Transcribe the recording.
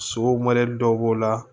Sogo mɔdɛli dɔw b'o la